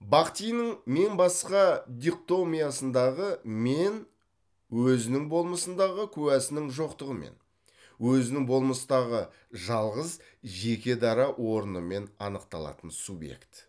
бахтиннің мен басқа дихтомиясындағы мен өзінің болмысындағы куәсінің жоқтығымен өзінің болмыстағы жалғыз жеке дара орынымен анықталатын субъект